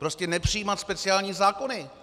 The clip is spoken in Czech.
Prostě nepřijímat speciální zákony.